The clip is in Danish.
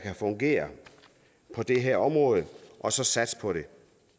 fungerer på det her område og så satse på det